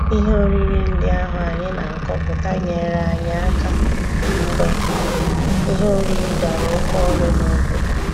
Ihe oriri ndị ahụ anyị na-akọpụta nyeere anyị aka mgbe ihe oriri dara oke ọnụ n'obodo.